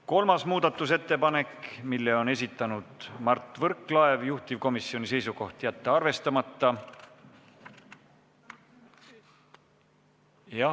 Kolmas muudatusettepanek, mille on esitanud Mart Võrklaev, juhtivkomisjoni seisukoht: jätta arvestamata.